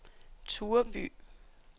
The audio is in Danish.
Tureby